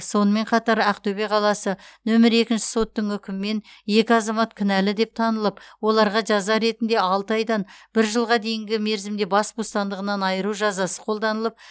сонымен қатар ақтөбе қаласы нөмір екінші соттың үкімімен екі азамат кінәлі деп танылып оларға жаза ретінде алты айдан бір жылға дейінгі мерзімде бас бостандығынан айыру жазасы қолданылып